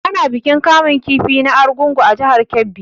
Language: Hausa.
Ana bikin kamun kifi na Argungu a jihar Kebbi.